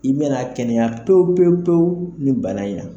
I bɛna kɛnɛya pewupewupewu ni bana in na.